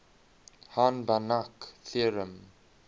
hahn banach theorem